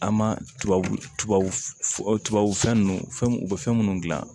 An ma tubabu tubabu fɛn ninnu fɛn u bɛ fɛn minnu dilan